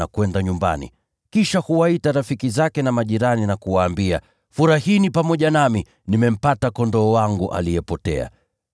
na kwenda nyumbani. Kisha huwaita rafiki zake na majirani, na kuwaambia, ‘Furahini pamoja nami; nimempata kondoo wangu aliyepotea.’